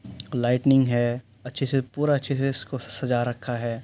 Lightning है। अच्छे से पूरा अच्छे से इसको स सजा रखा है।